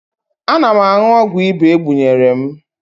Ana m aṅụ ọgwụ ịba e gbunyere m